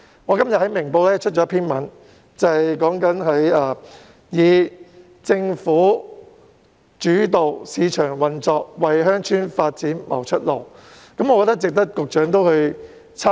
我今天在《明報》刊登了一篇題為"以'政府主導市場運作'模式為鄉村發展拓出路"的文章，值得局長參考。